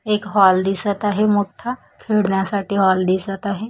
एक हॉल दिसत आहे मोठा खेडण्यासाठी हॉल दिसत आहे.